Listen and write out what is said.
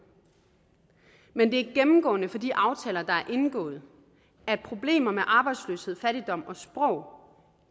men det er gennemgående for de aftaler der er indgået at problemer med arbejdsløshed fattigdom og sprog